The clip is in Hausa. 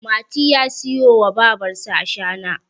mati ya siyo wa babarsa ashana